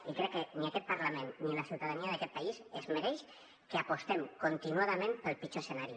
i crec que ni aquest parlament ni la ciutadania d’aquest país es mereixen que apostem continuadament pel pitjor escenari